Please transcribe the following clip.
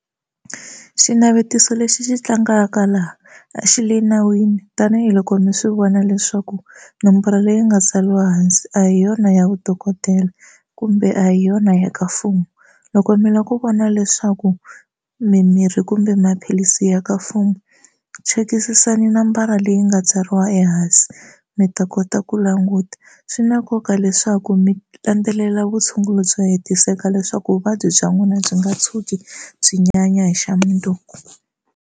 Xinavetiso lexi xi tlangaka laha a xi le nawini tanihiloko mi swi vona leswaku nomboro leyi nga tsariwa hansi a hi yona ya vudokodela kumbe a hi yona ya ka mfumo loko mi la ku vona leswaku mimirhi kumbe maphilisi ya ka mfumo chekisisani nambara leyi nga tsariwa ehansi mi ta kota ku languta swi na nkoka leswaku mi landzelela vutshunguri byo hetiseka leswaku vuvabyi bya n'wina byi nga tshuki byi nyanya hi xamundzuku.